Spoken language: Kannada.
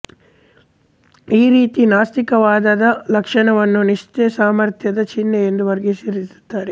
ಈ ರೀತಿಯ ನಾಸ್ತಿಕವಾದದ ಲಕ್ಷಣವನ್ನು ನೀತ್ಸೆ ಸಾಮರ್ಥ್ಯದ ಚಿಹ್ನೆ ಎಂದು ವರ್ಗಿಕರಿಸುತ್ತಾರೆ